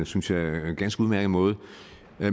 synes jeg ganske udmærket måde